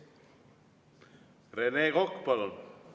Rene Kokk, palun!